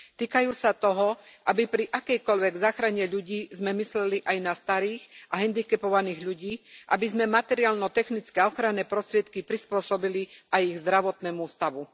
Týkajú sa toho, aby pri akejkoľvek záchrane ľudí sme mysleli aj na starých a hendikepovaných ľudí, aby sme materiálno technické a ochranné prostriedky prispôsobili aj ich zdravotnému stavu.